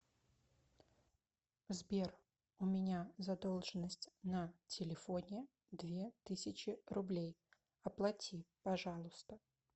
сбер у меня задолженность на телефоне две тысячи рублей оплати пожалуйста